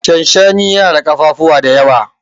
shanshani yana na kafafuwa da yawa